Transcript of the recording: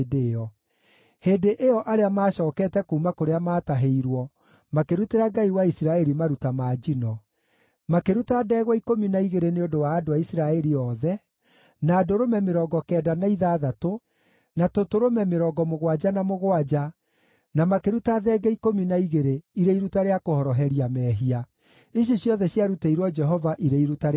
Hĩndĩ ĩyo arĩa maacookete kuuma kũrĩa maatahĩirwo makĩrutĩra Ngai wa Isiraeli maruta ma njino: makĩruta ndegwa ikũmi na igĩrĩ nĩ ũndũ wa andũ a Isiraeli othe, na ndũrũme mĩrongo kenda na ithathatũ, na tũtũrũme mĩrongo mũgwanja na mũgwanja, na makĩruta thenge ikũmi na igĩrĩ irĩ iruta rĩa kũhoroheria mehia. Ici ciothe ciarutĩirwo Jehova irĩ iruta rĩa njino.